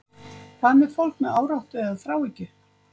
Hvað með fólk með áráttu eða þráhyggju?